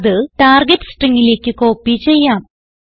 അത് ടാർഗെറ്റ് stringലേക്ക് കോപ്പി ചെയ്യാം